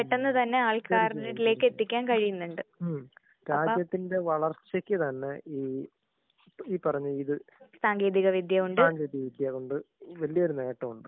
ഹം. രാജ്യത്തിന്റെ വളർച്ചക്ക് തന്നെ ഈ ഈ പറഞ്ഞ ഇത് സാങ്കേതിക വിദ്യ കൊണ്ട് വലിയ്യൊരു നേട്ടോണ്ട്.